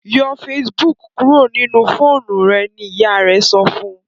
yọ Facebook kúrò nínú fóònù rẹ! ní ìyá rẹ sọfún